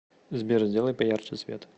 сбер сделай поярче свет